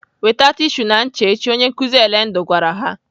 "Weta tishu na ncha echi!" Onye nkụzi Elendu gwara ha.